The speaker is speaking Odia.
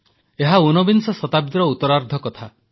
ଏହା ଊନବିଂଶ ଶତାବ୍ଦୀର ଉତରାର୍ଦ୍ଧ କଥା